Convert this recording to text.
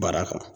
Baara kan